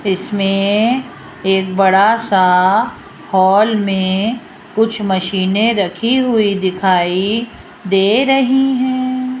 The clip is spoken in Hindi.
इसमें एक बड़ासा हॉल में कुछ मशीने रखी हुई दिखाई दे रहीं हैं।